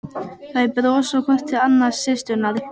Þær brosa hvor til annarrar, systurnar.